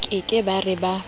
ke ke ba re ba